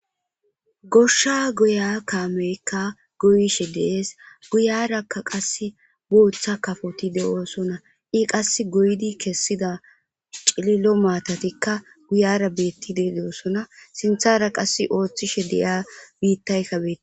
goshsha guya kaameykka goyishe dees guyarakka qass booththa kafoti de7oosonna i qass goydi kessida cililo maatatikka guyara beettide de7osona sinthara qass ooththishe de7ia biittaykkabei